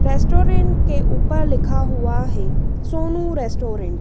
Restaurant के ऊपर लिखा हुआ है सोनू रेस्टोरेंट ।